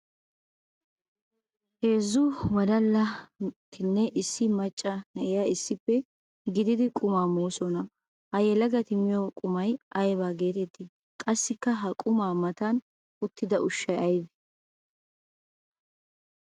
Heezzu wodallatinne issi macca na'iya issippe gididi qumaa moosona, ha yelagati miyo qumay ayba geetetti? Qassikka ha qumaa matan utidda ushshay aybe?